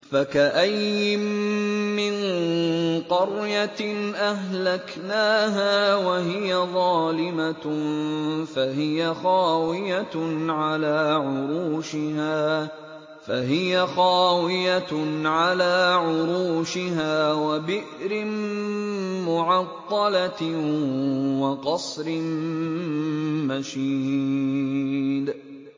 فَكَأَيِّن مِّن قَرْيَةٍ أَهْلَكْنَاهَا وَهِيَ ظَالِمَةٌ فَهِيَ خَاوِيَةٌ عَلَىٰ عُرُوشِهَا وَبِئْرٍ مُّعَطَّلَةٍ وَقَصْرٍ مَّشِيدٍ